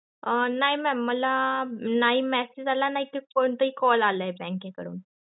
अं नाही mam मला नाही message, आला नाही कोणता call आला bank के कडून.